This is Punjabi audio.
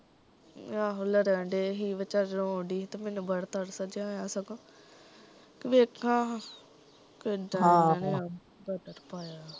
ਆਹੋ ਲੜਨ ਡਏ ਸੀ ਵਿਚਾਰੀ ਰੋਣ ਡਈ ਸੀ ਤੇ ਮੈਨੂੰ ਬੜਾ ਤਰਸ ਜਿਹਾ ਆਇਆ ਸਗੋਂ ਕੀ ਵੇਖ ਹਾਂ ਆਹ ਕਿਦਾ ਏਹਨਾ ਨੇ ਪਾਇਆ